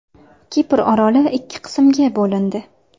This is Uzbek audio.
Kipr oroli ikki qismga bo‘lindi.